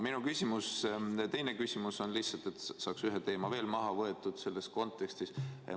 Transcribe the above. Minu teine küsimus on lihtsalt selleks, et saaks selles kontekstis ühe teema veel maha võtta.